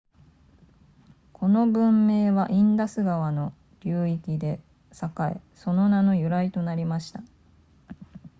この文明はインダス川の流域で栄えその名の由来となりました